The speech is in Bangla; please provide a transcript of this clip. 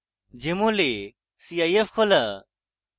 jmol এ cif খোলা